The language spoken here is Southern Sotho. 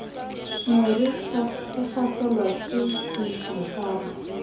ne re hlaselwa ke dinokwane